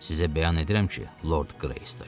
Sizə bəyan edirəm ki, Lord Greystoke.